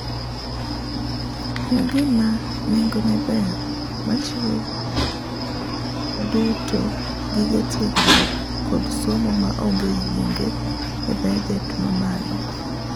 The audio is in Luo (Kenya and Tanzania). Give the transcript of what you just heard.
En gima nengone ber machiwo duto gige tiegruok kod somo maonge yienge e baget mamalo.